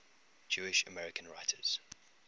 jewish american writers